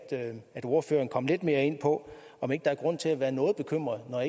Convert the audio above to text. ordføreren kom lidt mere ind på om ikke der er grund til at være noget bekymret når